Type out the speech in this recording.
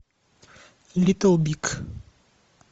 литл биг